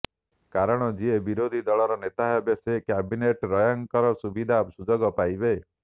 କାରଣ ଯିଏ ବିରୋଧୀ ଦଳର ନେତା ହେବେ ସେ କ୍ୟାବିନେଟ୍ ର୍ୟାଙ୍କର ସୁବିଧା ସୁଯୋଗ ପାଇବେ